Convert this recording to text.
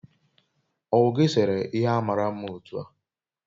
owu gi sere ihe a mara mma otu a?